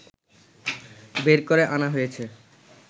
বের করে আনা হয়েছে